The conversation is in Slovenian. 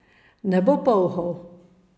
Ne bo polhov.